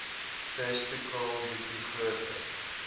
testikel bietjie groter